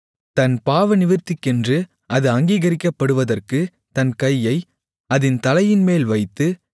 தன் பாவநிவிர்த்திக்கென்று அது அங்கீகரிக்கப்படுவதற்கு தன் கையை அதின் தலையின்மேல் வைத்து